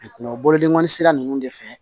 bolodengɔnnin sira ninnu de fɛ